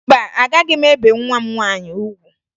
Mba, agaghị m ebe nwa m nwaanyị ugwu